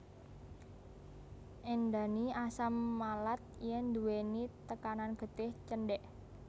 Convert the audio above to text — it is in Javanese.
Éndhani asam malat yèn nduwèni tekanan getih cendhèk